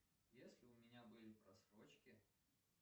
если у меня были просрочки